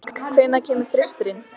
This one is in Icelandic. Heiðbjörk, hvenær kemur þristurinn?